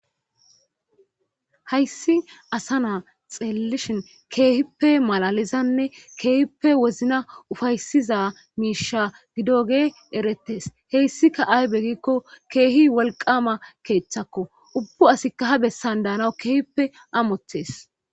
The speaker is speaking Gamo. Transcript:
Hayssi asa na xeelishin keehippe malalizanne keehippe wozina ufayssiza miisha gidoge eretees. Hessikka aybe giiko keehi wolqqama keethakko ubbu asika ha besan danawu amotees.